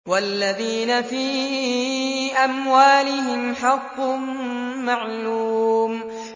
وَالَّذِينَ فِي أَمْوَالِهِمْ حَقٌّ مَّعْلُومٌ